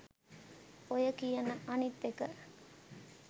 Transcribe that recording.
ඔය කියන අනිත් එක